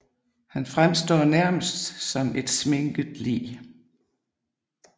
Han fremstår nærmest som et sminket lig